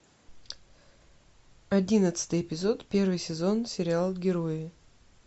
одиннадцатый эпизод первый сезон сериал герои